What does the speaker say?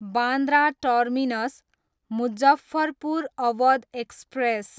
Bandra terminus, Muzaffarpur Awadh express